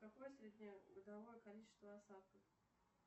какое среднегодовое количество осадков